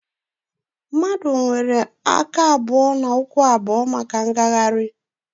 Mmadụ nwere aka abụọ na ụkwụ abụọ maka mgagharị